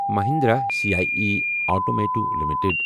Mahindra C I E automotive limited